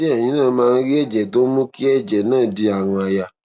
ṣé kí èyin náà máà rí èjè tó ń mú kí èjè náà di àrùn àyà